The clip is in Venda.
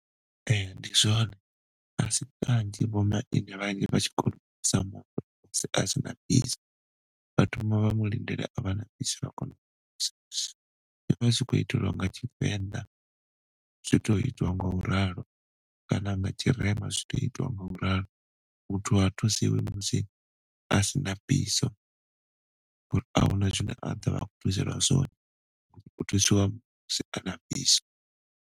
Ee, ndi zwone a si kanzhi vho maine vhane vha tshi khou thusa muthu musi asina biso. Vha thoma vha mulindela a vha na biso vha kona u mu thusa. Zwi vha zwi tshi khou itelwa nga tshivenḓa zwito itwa ngauralo kana nga tshirema zwito itwa ngauralo. Muthu ha thusiwi musi asina biso ngauri ahuna zwine a ḓo vha a khou thuselwa zwone, hu thusiwa musi ana biso.